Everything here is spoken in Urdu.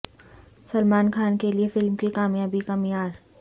سلمان خان کے لیے فلم کی کامیابی کا معیار